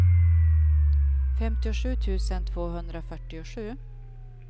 femtiosju tusen tvåhundrafyrtiosju